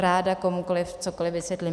Ráda komukoli cokoli vysvětlím.